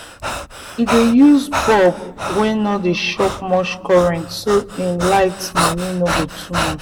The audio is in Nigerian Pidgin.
he dey use bulbs wey no dey chop much current so him light money no go too much.